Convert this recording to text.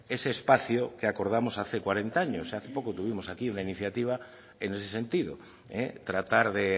ese espacio que acordamos hace cuarenta años hace poco tuvimos aquí una iniciativa en ese sentido tratar de